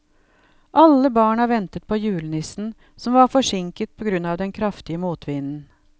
Alle barna ventet på julenissen, som var forsinket på grunn av den kraftige motvinden.